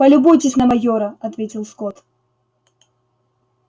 полюбуйтесь на майора ответил скотт